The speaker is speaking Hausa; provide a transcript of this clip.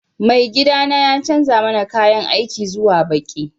Maigiɗana ya canza mana ƙayan aiki zuwa ɓaƙi